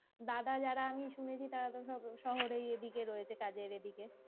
দাদা যারা আমি শুনেছি তারা কোথাও শহরের এদিকেই রয়েছে কাজের এদিকে